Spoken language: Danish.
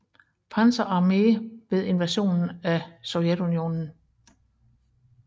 Panzer Armee ved invasionen af Sovjetunionen